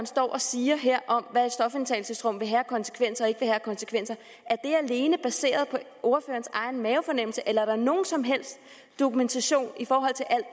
står og siger om hvad et stofindtagelsesrum vil have af konsekvenser og ikke vil have af konsekvenser alene baseret på ordførerens egen mavefornemmelse eller er der nogen som helst dokumentation i forhold til alt